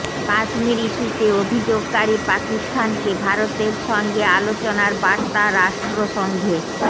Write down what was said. কাশ্মীর ইস্যুতে অভিযোগকারী পাকিস্তানকে ভারতের সঙ্গে আলোচনার বার্তা রাষ্ট্রসংঘের